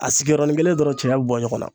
A sigiyɔrɔ nin kelen dɔrɔn cɛya be bɔ ɲɔgɔn na